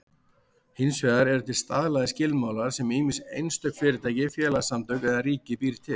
Hins vegar eru til staðlaðir skilmálar sem ýmist einstök fyrirtæki, félagasamtök eða ríkið býr til.